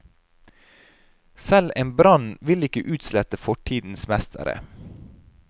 Selv en brann vil ikke utslette fortidens mestere.